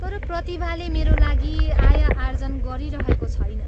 तर प्रतिभाले मेरा लागि आय आर्जन गराइरहेको छैन।